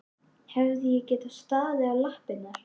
Hefði ég getað staðið í lappirnar?